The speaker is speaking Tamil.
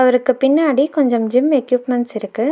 அவருக்கு பின்னாடி கொஞ்சம் ஜிம் எக்யூப்மெண்ட்ஸ் இருக்கு.